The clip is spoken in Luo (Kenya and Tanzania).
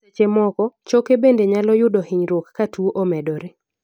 seche moko, choke bende nyalo yudo hinyruok ka tuo omedore